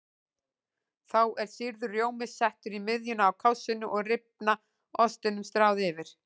Þá er sýrður rjómi settur í miðjuna á kássunni og rifna ostinum stráð yfir.